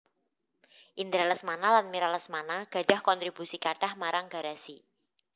Indra Lesmana lan Mira Lesmana gadhah kontribusi kathah marang Garasi